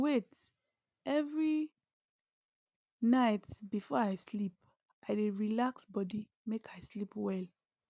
wait every night before i sleep i dey relax body make i sleep well